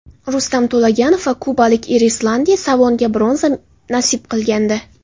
Rustam To‘laganov va kubalik Erislandi Savonga bronza nasib qilgandi.